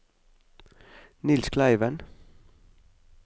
Niels Kleiven